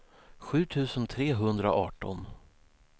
sju tusen trehundraarton